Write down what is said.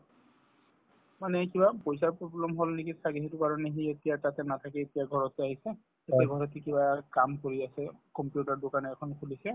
মানে কিবা পইচাৰ problem হল নেকি ছাগে সেইটো কাৰণে সি এতিয়া তাতে নাথাকি এতিয়া ঘৰতে আহিছে এতিয়া ঘৰত সি কিবা কাম কৰি আছে computer ৰৰ দোকান এখন খুলিছে